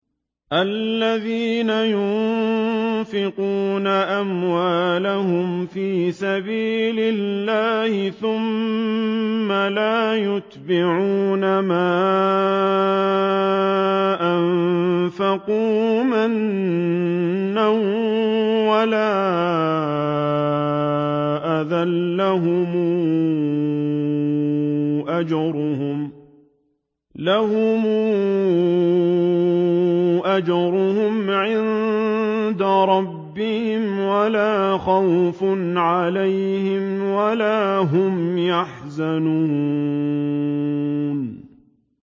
الَّذِينَ يُنفِقُونَ أَمْوَالَهُمْ فِي سَبِيلِ اللَّهِ ثُمَّ لَا يُتْبِعُونَ مَا أَنفَقُوا مَنًّا وَلَا أَذًى ۙ لَّهُمْ أَجْرُهُمْ عِندَ رَبِّهِمْ وَلَا خَوْفٌ عَلَيْهِمْ وَلَا هُمْ يَحْزَنُونَ